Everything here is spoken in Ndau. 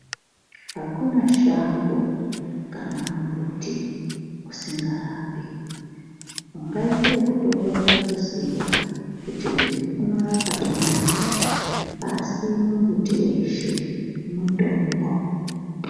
Hakuna shango kana mumbuti usingarapi. Ungaite ekutokorera kuziya kuti uyu unorapa dendanyi asi mumbuti weshe mutombo.